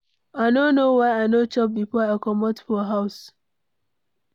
I no know why I no chop before I comot for house.